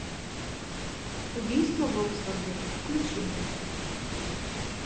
убийство в оксфорде включи мне